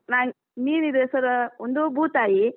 Me~ ಮೀನಿದು ಹೆಸರು ಒಂದು ಭೂತಾಯಿ.